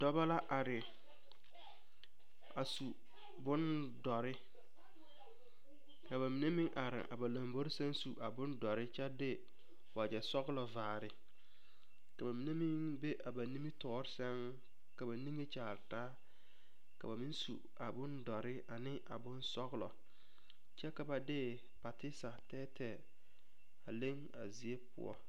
Dɔbɔ la are a su bondɔre ka ba mine meŋ are a ba lombori sɛŋ su a bondɔre kyɛ de wagyɛ sɔglɔ vaare ka ba mine meŋ be a ba nimitɔɔre sɛŋ ka ba niŋe kyaare taa ka ba meŋ su a bondɔre ne a bonsɔglɔ kyɛ ka ba de pateesa tɛɛtɛɛ a leŋ a zie poɔ.